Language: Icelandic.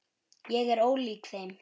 Ég er ólík þeim.